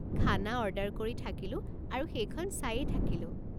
খানা অৰ্ডাৰ কৰি থাকিলো আৰু সেইখন চায়ে থাকিলো।